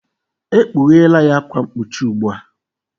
Ekpughela ya akwa mkpuchi ugbu a!